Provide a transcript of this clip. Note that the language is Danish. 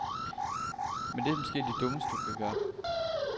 Men det er måske det dummeste, du kan gøre.